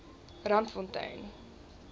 randfontein